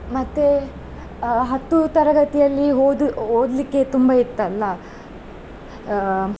ಮತ್ತೆ ಅಹ್ ಹತ್ತು ತರಗತಿಯಲ್ಲಿ ಹೋದು~ ಓದ್ಲಿಕ್ಕೆ ತುಂಬಾ ಇತ್ತಲ್ಲಾ.